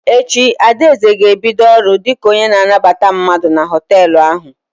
Echi, Adaeze ga-ebido ọrụ dị ka onye na anabata mmadụ na họtelụ ahụ.